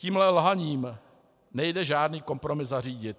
Tímhle lhaním nejde žádný kompromis zařídit.